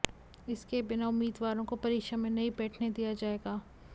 इसके बिना उम्मीदवारों को परीक्षा में नहीं बैठने दिया जाएगा